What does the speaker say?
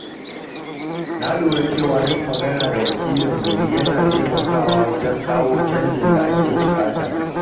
Na lura cewa yin magana da wakilan gari yana taimakawa wajen kawo canjin da ake buƙata.